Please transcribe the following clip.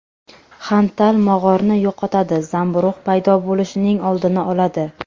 Xantal mog‘orni yo‘qotadi, zamburug‘ paydo bo‘lishining oldini oladi.